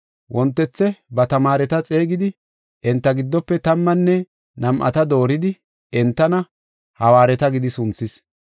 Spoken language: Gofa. Wontethe ba tamaareta xeegidi enta giddofe tammanne nam7ata dooridi, entana, “Hawaareta” gidi sunthis.